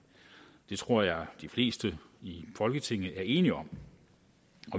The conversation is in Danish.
det tror jeg de fleste i folketinget er enige om